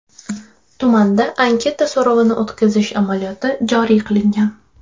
Tumanda anketa so‘rovini o‘tkazish amaliyoti joriy qilingan.